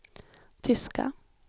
tyska